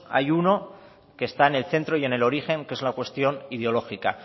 hay uno que está en el centro y en el origen que es la cuestión ideológica